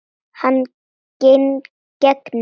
Hann gegnir.